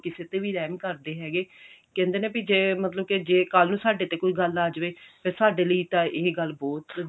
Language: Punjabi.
ਕਿਸੇ ਤੇ ਵੀ ਰਹਿਮ ਕਰਦੇ ਹੈਗੇ ਕਹਿੰਦੇ ਨੇ ਵੀ ਜੇ ਮਤਲਬ ਜੇ ਸਾਡੇ ਤੇ ਕੱਲ ਨੂੰ ਕੋਈ ਗੱਲ ਆ ਜਾਵੇ ਤੇ ਸਾਡੇ ਲਈ ਤਾਂ ਇਹ ਗੱਲ ਬਹੁਤ